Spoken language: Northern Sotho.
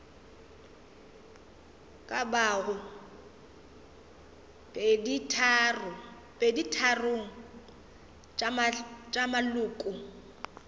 ka bago peditharong tša maloko